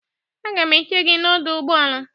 Agam eche gị n'ọdọ ụgbọala.